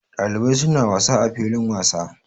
Ɗalibai suna wasa a filin wasa.